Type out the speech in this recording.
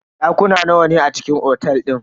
Dakuna nawa ne a cikin otel din?